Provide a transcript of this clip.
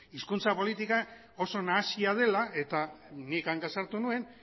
hizkuntza politika oso nahasia dela eta nik hanka sartu nuen